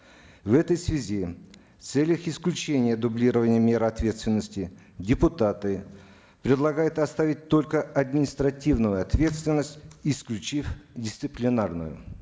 в этой связи в целях исключения дублирования мер ответственности депутаты предлагают оставить только административную ответственность исключив дисциплинарную